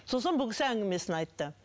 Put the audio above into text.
сосын бұл кісі әңгімесін айтты